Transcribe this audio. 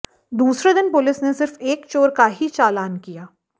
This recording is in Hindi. दूसरे दिन पुलिस ने सिर्फ एक चोर का ही चालान किया